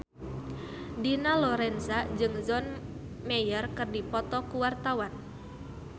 Dina Lorenza jeung John Mayer keur dipoto ku wartawan